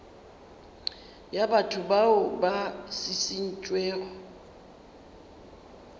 ya batho bao ba šišintšwego